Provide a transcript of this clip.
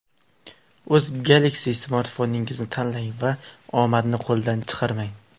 O‘z Galaxy smartfoningizni tanlang va omadni qo‘ldan chiqarmang!